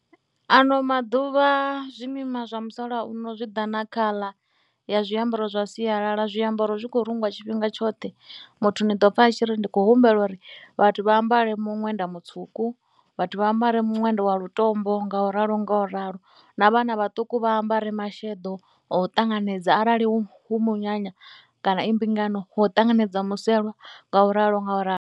Ano maḓuvha zwimima zwa musalauno zwi ḓa na khaḽa ya zwiambaro zwa sialala, zwiambaro zwi khou rungwa tshifhinga tshoṱhe. Muthu ni ḓo pfha a tshi ri ndi khou humbela uri vhathu vha ambare muṅwenda mutswuku, vhathu vha ambare miṅwenda wa lutombo ngauralo ngauralo. Na vhana vhaṱuku vha ambare masheḓo o ṱanganedza arali hu munyanya kana i mbingano ho ṱanganedzwa muselwa ngauralo ngauralo.